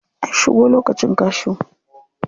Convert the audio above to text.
An shigo lokacin cashew.